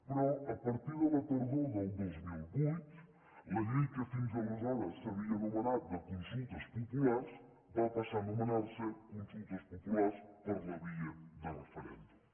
però a partir de la tardor del dos mil vuit la llei que fins aleshores s’havia anomenat de consultes populars va passar a anomenar se consultes populars per la via de referèndum